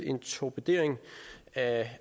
en torpedering af